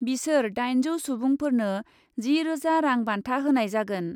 बिसोर दाइनजौ सुबुंफोरनो जि रोजा रां बान्था होनाय जागोन ।